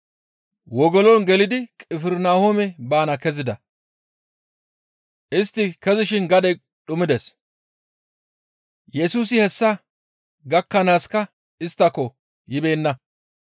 Wogolon gelidi Qifirnahoome baana kezida. Istti kezishin gadey dhumides. Yesusi hessa gakkanaaska isttako yibeenna.